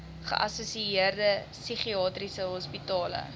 geassosieerde psigiatriese hospitale